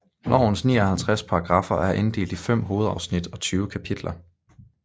Lovens 59 paragraffer er inddelt i fem hovedafsnit og 20 kapitler